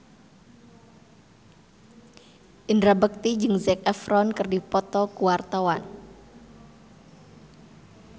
Indra Bekti jeung Zac Efron keur dipoto ku wartawan